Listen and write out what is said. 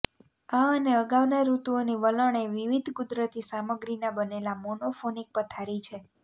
આ અને અગાઉના ઋતુઓની વલણ એ વિવિધ કુદરતી સામગ્રીના બનેલા મોનોફોનિક પથારી છે